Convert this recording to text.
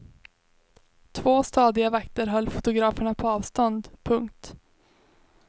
Två stadiga vakter höll fotograferna på avstånd. punkt